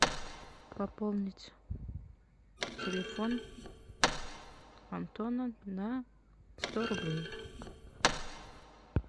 пополнить телефон антона на сто рублей